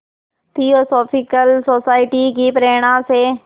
theosophical society की प्रेरणा से